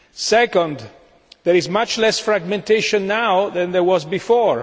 Secondly, there is much less fragmentation than there was before.